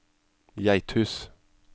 Geithus